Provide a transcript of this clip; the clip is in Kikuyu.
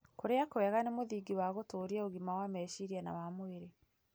Kũrĩa kwega nĩ mũthingi wa gũtũũria ũgima wa meciria na wa mwĩrĩ.